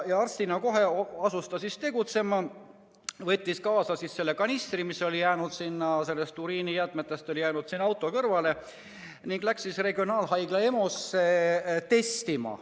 Arstina asus ta kohe tegutsema, võttis kaasa kanistri uriinijäägiga, mis oli jäänud auto kõrvale, ning läks regionaalhaigla EMO-sse testima.